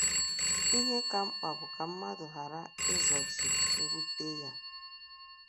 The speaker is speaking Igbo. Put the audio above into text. Ihe ka mkpa bụ ka mmadụ ghara izochi mwute ya.